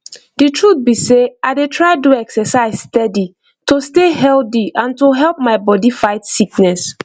the truth be sey i dey try do exercise steady to stay healthy and to help my body fight sickness